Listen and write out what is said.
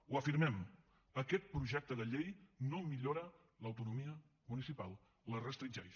ho afirmem aquest projecte de llei no millora l’autonomia municipal la restringeix